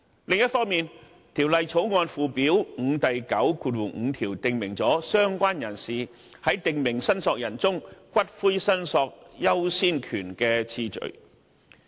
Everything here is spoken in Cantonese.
另一方面，《條例草案》附表5第95條已訂明"相關人士"在訂明申索人中，骨灰申索優先權的次序。